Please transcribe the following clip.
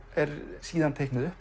er síðan teiknuð upp